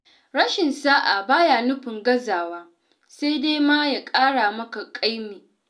Rashin sa'a ba ya nufin gazawa, sai dai ma ya ƙara maka ƙaimi.